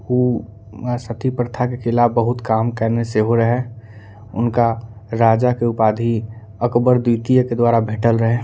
उ म सती प्रथा के खिलाफ बहुत काम करने से हो रहें उनका राजा के उपाधी अकबर द्वितीय के दवारा भेंटल रहे।